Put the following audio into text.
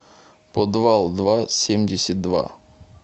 подвалдва семьдесят два